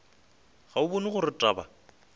ga o bone gore taba